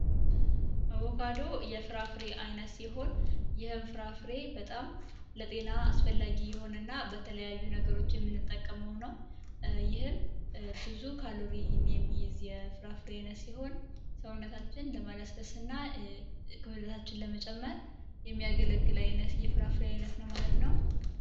አቮካዶ አስፈላጊ የሆነ ፍራፍሬ ይህም ፍራፍሬ ለጤና በጣም አስፈላጊ እና ለተለያዩ ነገሮች የምንጠቀመው ነው ይህም ብዙ ካሎሪ ይዘት ያለው ፍራፍሬ አይነት ሲሆን ሰውነታችንን ለማለስለስ ክብደታችንን ለመጨመር የሚያገለግል አይነት የፍራፍሬ አይነት ነው ማለት ነው